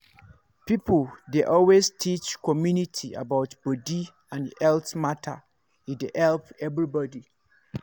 people dey always teach community about body and health matter e dey help everybody.